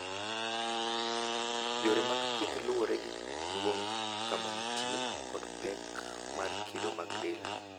Yore mag thieth luwore gi duong', kama nitie, kod pek mar kido mag del.